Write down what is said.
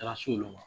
Taara s'olu ma